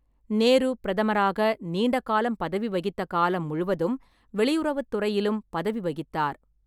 நேரு பிரதமராக நீண்ட காலம் பதவி வகித்த காலம் முழுவதும், வெளியுறவுத் துறையிலும் பதவி வகித்தார்.